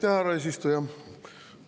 Aitäh, härra eesistuja!